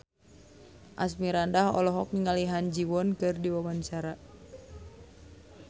Asmirandah olohok ningali Ha Ji Won keur diwawancara